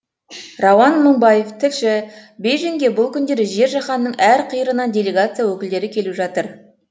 рауан мыңбаев тілші бейжіңге бұл күндері жер жаһанның әр қиырынан делегация өкілдері келіп жатыр